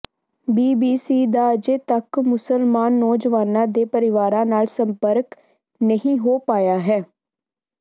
BBC ਦਾ ਅਜੇ ਤੱਕ ਮੁਸਲਮਾਨ ਨੌਜਵਾਨਾਂ ਦੇ ਪਰਿਵਾਰਾਂ ਨਾਲ ਸੰਪਰਕ ਨਹੀਂ ਹੋ ਪਾਇਆ ਹੈ